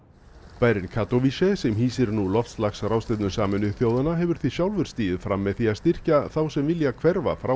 bærinn sem hýsir nú loftslagsráðstefnu Sameinuðu þjóðanna hefur því sjálfur stigið fram með því að styrkja þá sem vilja hverfa frá